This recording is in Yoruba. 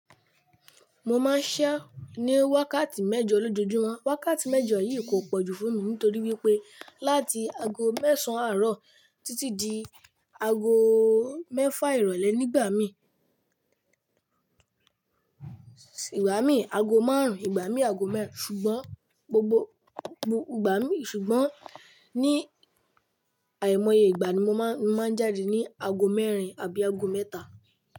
Mo máa ń ṣẹ́ ní wákàtí mẹ́jọ lójoojúmọ́. Wákàtí mẹ́jọ yìí kò pọ̀jù fún mi nítorí wípé láti ago mẹ́sàn-án àárọ̀ títí di ago mẹ́fà ìrọ̀lẹ́ nígbà mí, ìgbà mí ago márùn-ún, ìgbà mí ago mẹ́rin ṣùgbọ́n gbogbo ìgbà mí ṣùgbọ́n ní àìmọye ìgbà ni mo máa ń jáde ní ago mẹ́rin àbí ago mẹ́ta.